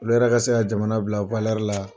Olu yɛrɛ ka se ka jamana bila la.